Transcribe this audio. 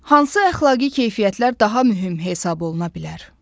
Hansı əxlaqi keyfiyyətlər daha mühüm hesab oluna bilər?